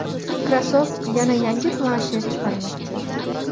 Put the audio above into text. Microsoft yana yangi planshet chiqarmoqchi.